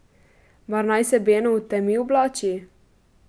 Mar naj se Beno v temi oblači?